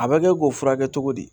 A bɛ kɛ k'o furakɛ cogo di